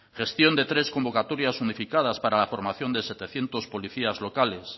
gestión de tres convocatorias unificadas para la formación de setecientos policías locales